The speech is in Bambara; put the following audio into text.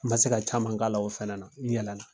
N ma se ka caman k'a la o fɛnɛ na, n yɛlɛ na